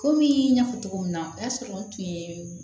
Komi n y'a fɔ cogo min na o y'a sɔrɔ n tun ye